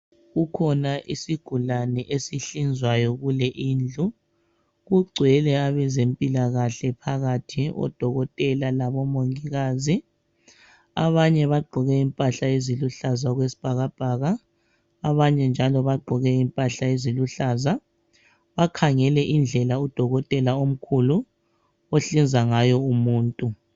Kukhona isigulane esihlinzwayo kule indlu. Kugcwele abezempilakahle phakathi oDokotela laboMongikazi. Abanye bagqoke impahla eziluhlaza okwesibhakabhaka abanye njalo bagqoke impahla eziluhlaza bakhangele indlela uDokotela omkhulu ohlinza ngayo umuntu.